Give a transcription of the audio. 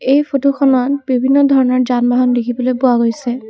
এই ফটোখনত বিভিন্ন ধৰণৰ যান বাহন দেখিবলৈ পোৱা গৈছে।